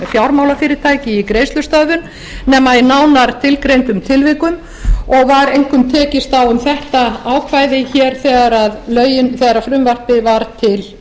fjármálafyrirtæki í greiðslustöðvun nema í nánar tilgreindum tilvikum og var einkum tekist á um þetta ákvæði hér þegar frumvarpið var til